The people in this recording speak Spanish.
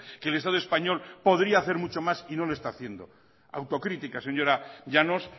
que el estado español podría hacer mucho más y no lo está haciendo autocrítica señora llanos